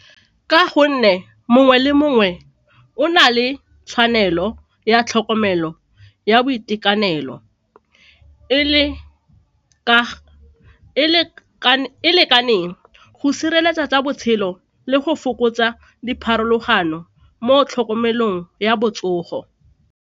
Ka gonne mongwe le mongwe o na le tshwanelo ya tlhokomelo ya boitekanelo e lekaneng go sireletsa tsa botshelo le go fokotsa dipharologano mo tlhokomelong ya botsogo.